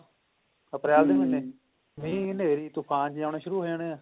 ਅਪ੍ਰੈਲ ਦੇ ਮਹੀਨੇ ਮੀਹ ਹਨੇਰੀ ਤੂਫਾਨ ਜੇ ਆਨੇ ਸ਼ੁਰੂ ਹੋ ਜਾਣੇ ਐ